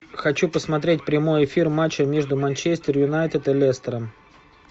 хочу посмотреть прямой эфир матча между манчестер юнайтед и лестером